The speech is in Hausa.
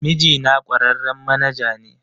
Mijina kwararren manaja ne